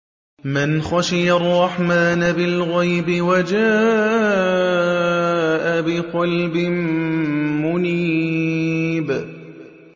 مَّنْ خَشِيَ الرَّحْمَٰنَ بِالْغَيْبِ وَجَاءَ بِقَلْبٍ مُّنِيبٍ